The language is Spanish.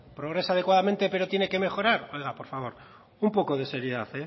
progresa adecuadamente pero tiene que mejorar oiga por favor un poco de seriedad